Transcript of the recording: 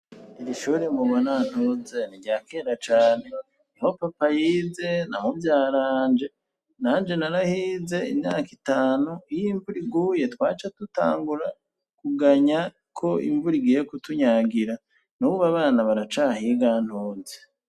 Iri ishure ngo bona ntuze ni rya kenda cane ihopapayize namuvyaranje nanje narahize inaka itanu iyo imvura iguye twaca tutangura kuganya ko imvura igiye kutunyagira n'uba abana baracahiga ntuze.